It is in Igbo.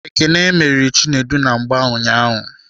Ekene meriri Chinedu na mgba ụnyaahụ.